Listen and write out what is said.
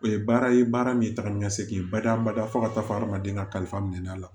O ye baara ye baara min ye taga ni ka segin bada-bada fo ka taa fɔ hadamaden ka kalifa minɛ a la